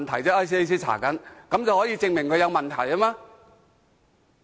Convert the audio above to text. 這足以證明他有問題嗎？